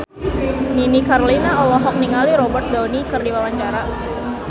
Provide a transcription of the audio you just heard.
Nini Carlina olohok ningali Robert Downey keur diwawancara